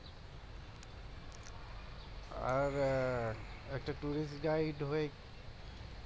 আর একটা হয়ে